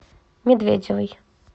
медведевой